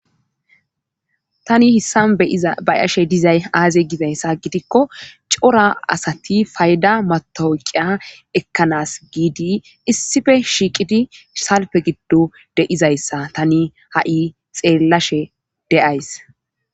Tani hissan beyiza bayashe dizay aaze gizayssa gidikko cora asati fayda matooqiya ekkanas giidi issife shiiqidi salpe giddo de'izayssa tani ha'i xeellashe de'ays.